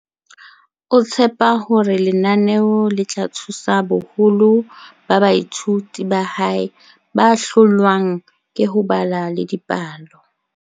o tshepa hore lenaneo le tla thusa boholo ba baithuti ba hae ba hlo lwang ke ho bala le dipalo.